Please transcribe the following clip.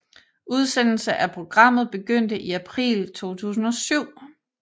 Udsendelse af programmet begyndte i april 2007